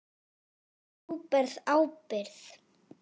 Þú berð ábyrgð.